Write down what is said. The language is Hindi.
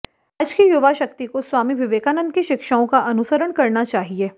आज की युवाशक्ति को स्वामी विवेकानंद की शिक्षाओं का अनुसरण करना चाहिए